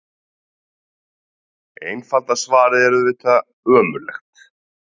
Einfalda svarið er auðvitað: ömurlegt.